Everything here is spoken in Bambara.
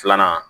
Filanan